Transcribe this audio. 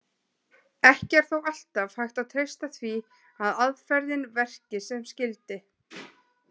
Ekki er þó alltaf hægt að treysta því að aðferðin verki sem skyldi.